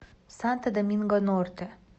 санто доминго норте